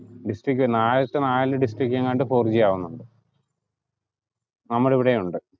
district ആദ്യത്തെ നാല് district എങ്ങാണ്ട് ഫൗർ ജി ആവുന്നുണ്ട് നമ്മളിവിടെ ഉണ്ട്'